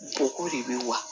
Bɔgɔ de bɛ wa